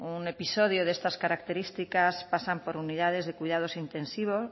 un episodio de estas características pasan por unidades de cuidados intensivos